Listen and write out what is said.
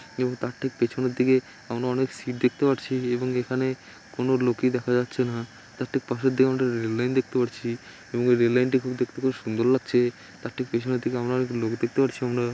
এবং তার ঠিক পিছনের দিকে আমরা অনেক সিট দেখতে পারছি এবং এখানে কোন লোকই দেখা যাচ্ছে না। তার ঠিক পাশের দিকে আমরা একটা রেল লাইন দেখতে পাচ্ছি এবং রেল লাইন টি খুব দেখতে খুব সুন্দর লাগছে। তার ঠিক পিছনের দিকে আমরা অনেক লোক দেখতে পাচ্ছি আমরা।